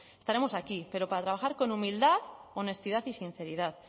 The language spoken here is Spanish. estaremos aquí pero para trabajar con humildad honestidad y sinceridad